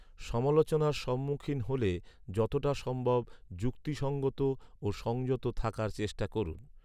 সমালোচনার সম্মুখীন হ’লে যতটা সম্ভব যুক্তিসঙ্গত ও সংযত থাকার চেষ্টা করুন।